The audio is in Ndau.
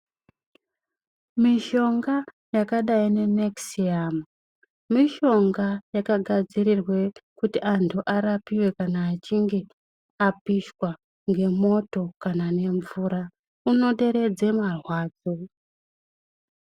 Mishonga yakadai nenekisiyamu mishonga yakagadzirirwe kuti antu arapiwe kana achinge apishwa ngemoto kana nemvura, unoderedze marwadzo.